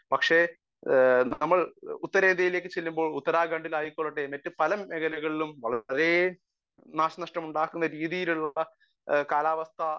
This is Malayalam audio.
സ്പീക്കർ 1 പക്ഷെ നമ്മൾ ഉത്തരേന്ത്യയിലേക്ക് ചെല്ലുമ്പോൾ ഉത്തരാഖണ്ഡ് ആയിക്കൊള്ളട്ടെ മറ്റു പല മേഖലകളിലും വളരെ നാശ നഷ്ടങ്ങൾ ഉണ്ടാക്കുന്ന രീതിയിലുള്ള കാലാവസ്ഥ